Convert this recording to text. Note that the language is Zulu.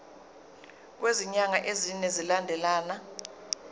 kwezinyanga ezine zilandelana